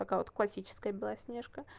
такая вот классическая белоснежка